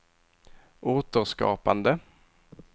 återskapande